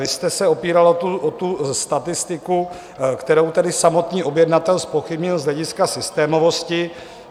Vy jste se opíral o tu statistiku, kterou tady samotný objednatel zpochybnil z hlediska systémovosti.